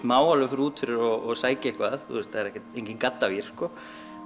má alveg fara út fyrir og sækja eitthvað það er enginn gaddavír sko